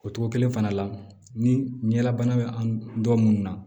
O togo kelen fana la ni ɲɛlabana bɛ an dɔ minnu na